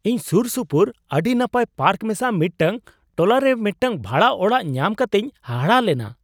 ᱤᱧ ᱥᱩᱨᱥᱩᱯᱩᱨ ᱟᱹᱰᱤ ᱱᱟᱯᱟᱭ ᱯᱟᱨᱠ ᱢᱮᱥᱟ ᱢᱤᱫᱴᱟᱝ ᱴᱚᱞᱟᱨᱮ ᱢᱤᱫᱴᱟᱝ ᱵᱷᱟᱲᱟ ᱚᱲᱟᱜ ᱧᱟᱢ ᱠᱟᱛᱤᱧ ᱦᱟᱦᱟᱲᱟᱜ ᱞᱮᱱᱟ ᱾